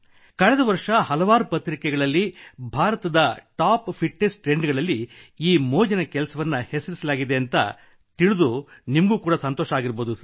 ಕಳೆದ ವರ್ಷ ಹಲವಾರು ಪತ್ರಿಕೆಗಳಲ್ಲಿ ಭಾರತದ ಟಾಪ್ ಫಿಟ್ ನೆಸ್ ಟ್ರೆಂಡ್ ಗಳಲ್ಲಿ ಈ ಮೋಜಿನ ಕೆಲಸವನ್ನು ಹೆಸರಿಸಲಾಗಿದೆ ಎಂದು ತಿಳಿದು ನಿಮಗೆ ಸಂತೋಷವಾಗಬಹುದು